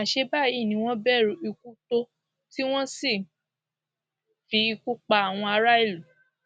àṣẹ báyìí ni wọn bẹrù ikú tó tí wọn sì ń fi ikú pa àwọn aráàlú